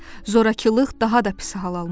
Zorakılıq daha da pis hal almışdı.